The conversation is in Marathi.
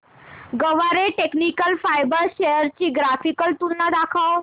गरवारे टेक्निकल फायबर्स शेअर्स ची ग्राफिकल तुलना दाखव